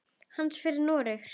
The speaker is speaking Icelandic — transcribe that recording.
Hann fer til Noregs.